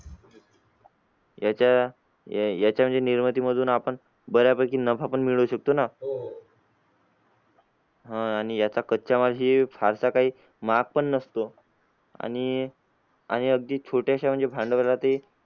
याच्या या याच्या म्हणजे निर्मिती मधून आपण बऱ्यापैकी नफा पण मिळवू शकतो ना? आह आणि याचा कच्चामाल फारसा काही महाग पण नसतो, आणि आणि अगदी छोट्याशा म्हणजे भांडवलातही